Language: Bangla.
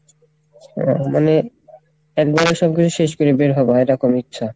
ও মানে একবারে সব কিছু শেষ করে বের হবা এরকম ইচ্ছা?